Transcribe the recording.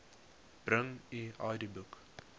bring u idboek